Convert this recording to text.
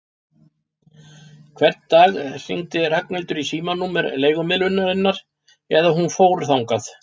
Hvern dag hringdi Ragnhildur í símanúmer leigumiðlunarinnar eða hún fór þangað.